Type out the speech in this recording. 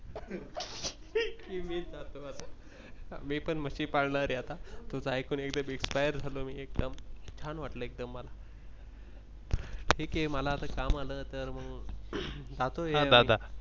मी पण म्हशी पण पाळणार आहे आता तुझ एकूण एकदम Inspire झालो मी आता एकदम छ्यान वाटल एकदम मला ठीक आहे मला आता काम आल तर मग.